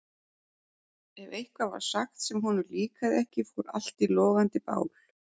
Ef eitthvað var sagt sem honum líkaði ekki fór allt í logandi bál.